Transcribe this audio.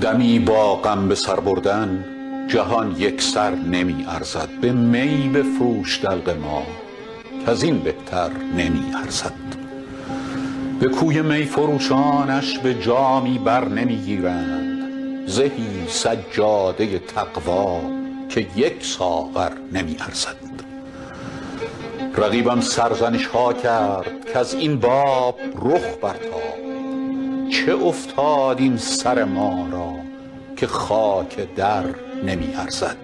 دمی با غم به سر بردن جهان یک سر نمی ارزد به می بفروش دلق ما کز این بهتر نمی ارزد به کوی می فروشانش به جامی بر نمی گیرند زهی سجاده تقوا که یک ساغر نمی ارزد رقیبم سرزنش ها کرد کز این باب رخ برتاب چه افتاد این سر ما را که خاک در نمی ارزد